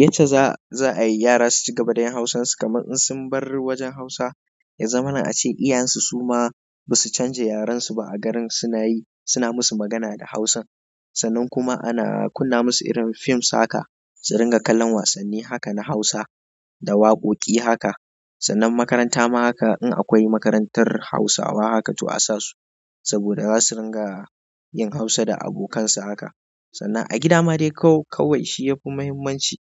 Yacce za a, za a yi yara su ci gaba da yin Hausan su kamar in sun bar wajen Hausa, ya zama na a ce iyayensu su ma ba su canja yaren su ba a garin suna yi, suna musu magana da Hausan. Sannan kuma ana kunna musu irin fism haka, su ringa kallon wasanni haka na Hausa da waƙoƙi haka. Sannan makaranta ma haka in akwai makarantar Hausawa haka to a sa su. Saboda zasu ringa yin Hausa da abokansa haka. Sannan a gida ma dai kau-kawai shi yafi muhimmanci.